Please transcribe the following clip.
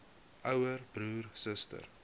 ouer broer suster